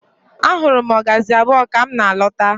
Ahụrụ m ọgazị abụọ ka m na-lọta.